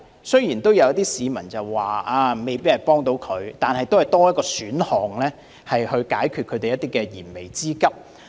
雖然有市民說這計劃未必有幫助，但亦算是多一個選項可以解決燃眉之急。